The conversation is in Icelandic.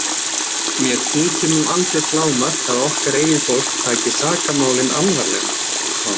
Mér þykir nú algjört lágmark að okkar eigið fólk taki sakamálin alvarlega.